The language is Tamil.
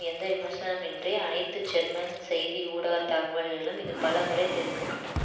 எந்த விமர்சனமின்றி அனைத்து ஜெர்மன் செய்தி ஊடக தகவல்களிலும் இது பல முறை தெரிவிக்க பட்டது